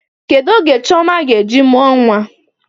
Kedụ oge Chioma ga-eji mụọ nwa?